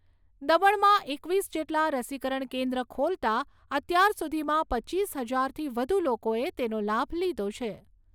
દમણમાં એકવીસ જેટલા રસીકરણ કેન્દ્ર ખોલતા અત્યાર સુધીમાં પચીસ હજારથી વધુ લોકોએ તેનો લાભ લીધો છે.